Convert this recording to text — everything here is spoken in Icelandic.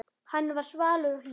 Hann var svalur og hlýr.